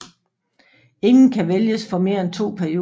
Ingen kan vælges for mere end to perioder